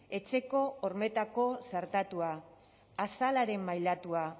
etxeko hormetako txertatua azalaren mailatua